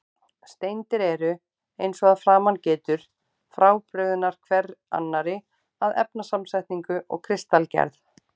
Steindir eru, eins og að framan getur, frábrugðnar hver annarri að efnasamsetningu og kristalgerð.